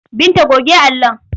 Binta goge allon!